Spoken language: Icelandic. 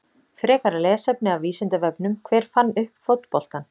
Frekara lesefni af Vísindavefnum: Hver fann upp fótboltann?